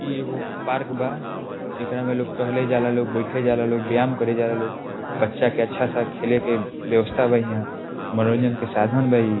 इ एगो पार्क बा | एकरा में लोग टहले जाला लोग बैठे जाला लोग व्यायाम करे जाला लोग बच्चा के अच्छा सा खेले के बेवस्था बा इहाँ मनोरंजन के साधन बा इ |